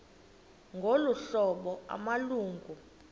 ngolu hlobo amalungu